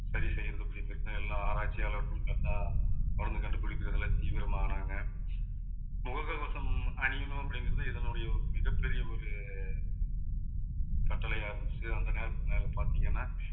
சரி செய்யறது எல்லாம் ஆராய்ச்சியாளர்கள் correct அ மருந்து கண்டுபிடிக்கறதுல தீவிரமானாங்க. முகக்கவசம் அணியணும் அப்படிங்கறது இதனுடைய ஒரு மிகப்பெரிய ஒரு கட்டளையா இருந்துச்சு அந்த நேரத்துல பாத்தீங்கன்னா